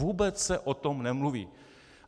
Vůbec se o tom nemluví.